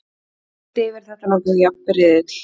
Heilt yfir er þetta nokkuð jafn riðill.